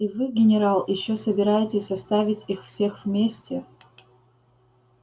и вы генерал ещё собираетесь оставить их всех вместе